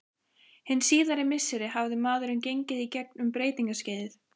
Hin síðari misseri hafði maðurinn gengið í gegn um breytingaskeið.